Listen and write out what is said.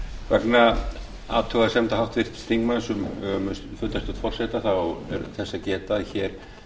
vegna athugasemda háttvirts þingmanns um fundarstjórn forseta er þess að geta að hér